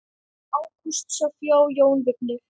Ágústa, Soffía og Jón Vignir.